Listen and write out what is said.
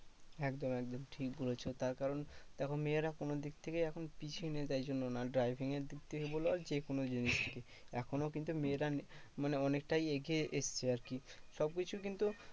একদম একদম ঠিক বলেছো। তার কারণ দেখো মেয়েরা কোনো দিক থেকেই এখন পিছিয়ে নেই তাই জন্য না driving দিক থেকে বলো আর যেকোনো জিনিস। এখনও কিন্তু মেয়েরা মানে অনেকটাই এগিয়ে এসেছে আরকি। সবকিছু কিন্তু